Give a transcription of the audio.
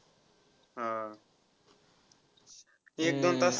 हा. एक-दोन तास